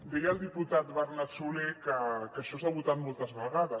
deia el diputat bernat solé que això s’ha votat moltes vegades